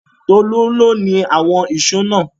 Tolú ni ó ni àwọn ìṣó náà.